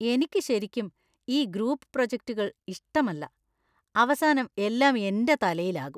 എനിക്ക് ശരിക്കും ഈ ഗ്രൂപ്പ് പ്രോജക്റ്റുകൾ ഇഷ്ടമല്ല, അവസാനം എല്ലാം എന്‍റെ തലയിലാകും.